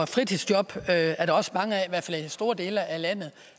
fritidsjob er der også mange af fald i store dele af landet